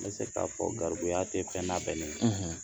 N bɛ se ka fɔ garibuya te fɛn labɛnnen ye